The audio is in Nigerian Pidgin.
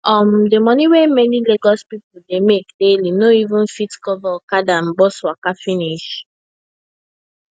um the money wey many lagos people dey make daily no even fit cover okada and bus waka finish